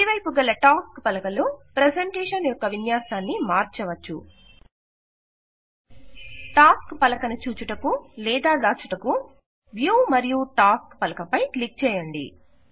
కుడి వైపు గల టాస్క్ పలక లో ప్రెజెంటేషన్ యొక్క విన్యాసాన్ని మార్చవచ్చు టాస్క్ పలక ను చూచుటకు లేదా దాచుటకు వ్యూ మరియు టాస్క్ పలక పై క్లిక్ చేయండి